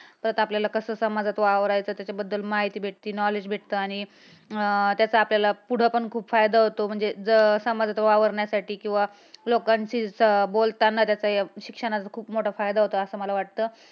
परत आपल्याला कसा समाजात वावरायच त्याच्याबद्दल माहिती भेटती knowledge भेटते. आणि त्याचा आपल्याला पुढं पण खूप फायदा होतो. म्हणजे जर समाजात वावरण्यासाठी किंवा लोकांशी बोलताना जर शिक्षणाचा खूप मोठा फायदा होतो असा मला वाटतं.